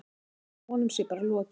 Lára: Honum sé bara lokið?